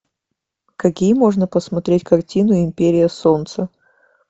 какие можно посмотреть картины империя солнца